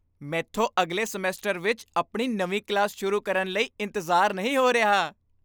ਮੈਥੋਂ ਅਗਲੇ ਸਮੈਸਟਰ ਵਿੱਚ ਆਪਣੀ ਨਵੀਂ ਕਲਾਸ ਸ਼ੁਰੂ ਕਰਨ ਲਈ ਇੰਤਜ਼ਾਰ ਨਹੀਂ ਹੋ ਰਿਹਾ!